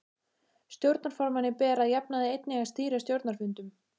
Stjórnarformanni ber að jafnaði einnig að stýra stjórnarfundum.